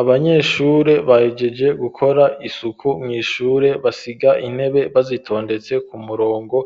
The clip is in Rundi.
Abanyeshure bahejeje gukora isuku mw'ishure basiga intebe bazitondetse ku murongo,